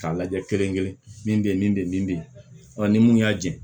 K'a lajɛ kelen kelen min be ye min be yen min be yen ni mun y'a jɛn